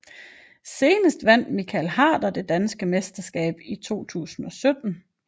Senest vandt Michael Harder det danske mesterskab i 2017